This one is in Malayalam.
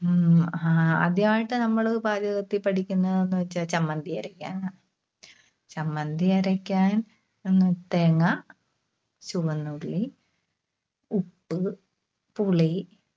ഉം ആദ്യമായിട്ട് നമ്മള് പാചകത്തിൽ പഠിക്കുന്നേന്നുവെച്ചാൽ ചമ്മന്തി അരക്കാനാ. ചമ്മന്തി അരക്കാൻ തേങ്ങ, ചുവന്നുള്ളി, ഉപ്പ്, പുളി.